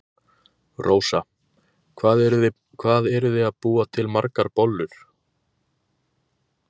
Rósa: Hvað eruð þið að búa til margar bollur?